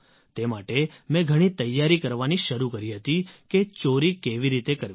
તે માટે મેં ઘણી તૈયારી કરવાની શરૂ કરી હતી કે ચોરી કેવી રીતે કરવી